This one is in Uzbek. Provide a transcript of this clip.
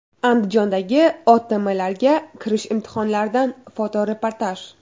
Andijondagi OTMlarga kirish imtihonlaridan fotoreportaj.